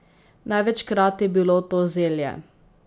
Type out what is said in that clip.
Največkrat je bilo to zelje.